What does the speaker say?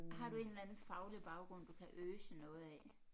Har du en eller anden faglig baggrund du kan øse noget af